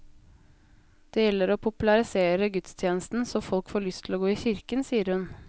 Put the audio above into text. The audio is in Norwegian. Det gjelder å popularisere gudstjenesten så folk får lyst til å gå i kirken, sier hun.